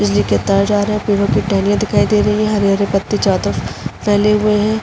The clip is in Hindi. बिजली के तार जा रहे हैं। पेड़ो की टहनियाँ दिखाई दे रही हैं। हरे-हरे पत्ते चारो तरफ फैले हुए हैं।